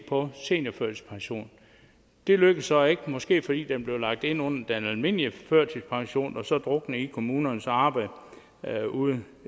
på seniorførtidspension det lykkedes så ikke måske fordi den blev lagt ind under den almindelige førtidspension og den så druknede i kommunernes arbejde ude